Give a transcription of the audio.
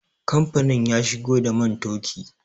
Kamfanin ya shigo da man toki